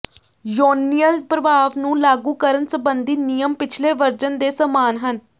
ਯੋਨੀਅਲ ਪ੍ਰਭਾਵ ਨੂੰ ਲਾਗੂ ਕਰਨ ਸੰਬੰਧੀ ਨਿਯਮ ਪਿਛਲੇ ਵਰਜਨ ਦੇ ਸਮਾਨ ਹਨ